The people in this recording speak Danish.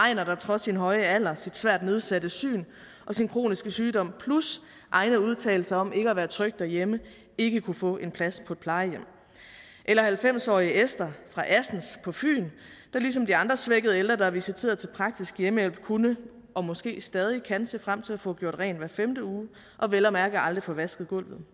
einer der trods sin høje alder sit svært nedsatte syn og sin kroniske sygdom plus egne udtalelser om ikke at være tryg derhjemme ikke kunne få en plads på et plejehjem eller halvfems årige esther fra assens på fyn der ligesom de andre svækkede ældre der er visiteret til praktisk hjemmehjælp kunne og måske stadig kan se frem til at få gjort rent hver femte uge og vel at mærke aldrig få vasket gulvet